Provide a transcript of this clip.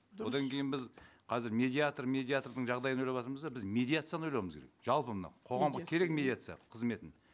одан кейін біз қазір медиатор медиатордың жағдайын ойлаватырмыз да біз медиацияны ойлауымыз керек жалпы мынау қоғамға керек медиация қызметін